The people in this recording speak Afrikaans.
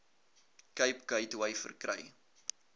cape gateway verkry